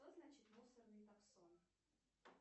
что значит мусорный таксон